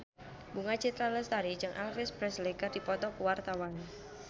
Bunga Citra Lestari jeung Elvis Presley keur dipoto ku wartawan